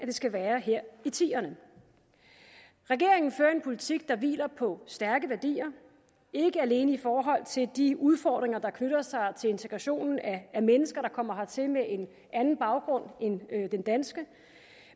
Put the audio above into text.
det skal være her i tierne regeringen fører en politik der hviler på stærke værdier ikke alene i forhold til de udfordringer der knytter sig til integrationen af mennesker der kommer hertil med en anden baggrund end den danske